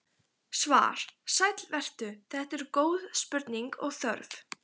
Svar: Sæll vertu, þetta eru góð spurning og þörf.